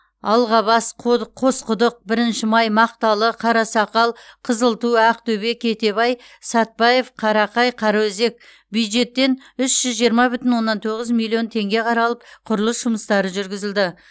алғабас қоды қосқұдық бірінші май мақталы қарасақал қызылту ақтөбе кетебай сатбаев қарақай қараөзек бюджеттен үш жүз жиырма бүтін оннан тоғыз миллион теңге қаралып құрылыс жұмыстары жүргізілді